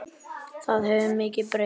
Það hefur mikið breyst.